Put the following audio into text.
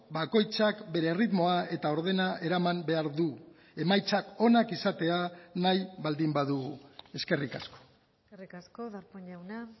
bakoitzak bere erritmoa eta ordena eraman behar du emaitzak onak izatea nahi baldin badugu eskerrik asko eskerrik asko darpón jauna